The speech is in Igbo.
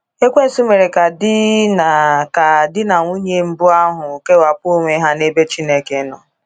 Ekwensụ mere ka di na ka di na nwunye mbụ ahụ kewapụ onwe ha n’ebe Chineke nọ.